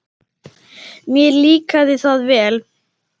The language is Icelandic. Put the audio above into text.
Mér líkaði það vel.